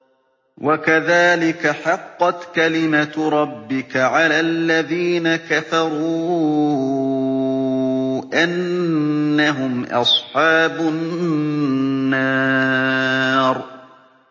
وَكَذَٰلِكَ حَقَّتْ كَلِمَتُ رَبِّكَ عَلَى الَّذِينَ كَفَرُوا أَنَّهُمْ أَصْحَابُ النَّارِ